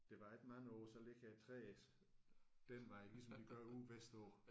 Det varer ikke mange år så ligger træerne den vej ligesom de gør ude vestpå